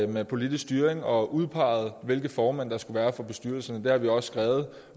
med politisk styring og udpegede hvilke formænd der skulle være for bestyrelserne det har vi også skrevet